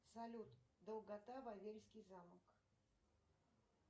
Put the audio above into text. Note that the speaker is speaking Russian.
салют долгота вавельский замок